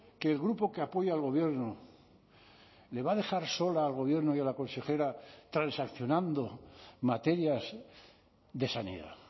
que el grupo que apoya al gobierno le va a dejar sola al gobierno y a la consejera transaccionando materias de sanidad